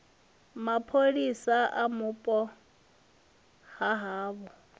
mapholisa ya vhupo ha havho